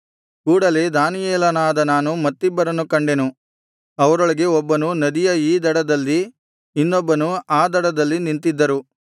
ಕೂಡಲೆ ದಾನಿಯೇಲನಾದ ನಾನು ಮತ್ತಿಬ್ಬರನ್ನು ಕಂಡೆನು ಅವರೊಳಗೆ ಒಬ್ಬನು ನದಿಯ ಈ ದಡದಲ್ಲಿ ಇನ್ನೊಬ್ಬನು ಆ ದಡದಲ್ಲಿ ನಿಂತಿದ್ದರು